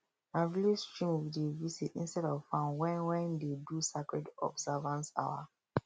na village stream we dey visit instead of farm when wen dey do sacred observance hour